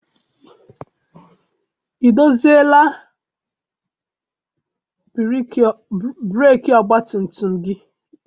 I doziela breeki ọgbatumtum gị?